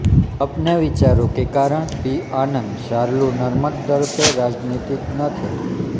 अपने विचारों के कारण पी आनन्द चार्लू नरम दल के राजनीतिज्ञ थे